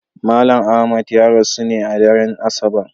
Malam Ahmad ya rasu ne a daren Asabar.